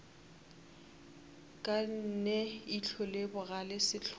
ne ihlo le bogale sehlola